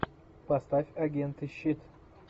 поставь агенты щит